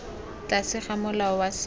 tlase ga molao wa setso